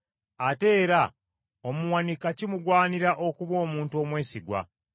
Ate era omuwanika kimugwanira okuba omuntu omwesigwa.